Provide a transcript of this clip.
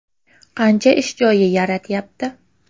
Qancha ish joyi yaratyapti?